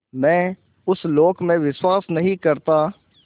मैं उस लोक में विश्वास नहीं करता